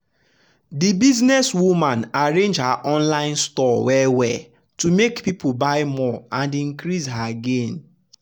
the business woman arrange her online store well well to make people buy more and increase her gain.